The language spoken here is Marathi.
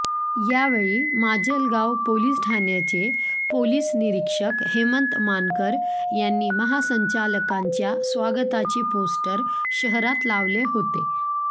यावेळी माजलगाव पोलीस ठाण्याचे पोलीस निरीक्षक हेमंत मानकर यांनी महासंचालकांच्या स्वागताचे पोस्टर शहरात लावले होते